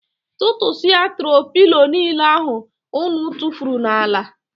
Tụtụsia tro pilo niile ahụ ụnụ tufuru n'ala.